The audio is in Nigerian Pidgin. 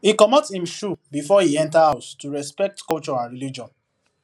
he comot him shoe before he enter house to respect culture and religion